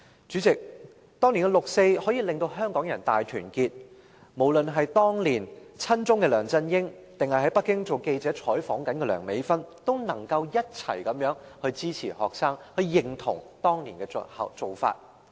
主席，當年六四可以令香港人大團結，無論是當年親中的梁振英，或在北京當記者做採訪的梁美芬議員，也能夠一起支持學生，認同當年的做法。